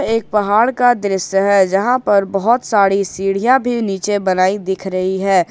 एक पहाड़ का दृश्य है यहां पर बहुत सारी सीढ़ियां भी नीचे बनाई दिख रही है।